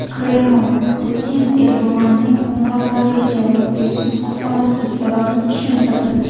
Kreml Putin Erdo‘g‘onning qo‘ng‘iroqlariga javob berishni xohlamaslik sababini tushuntirdi.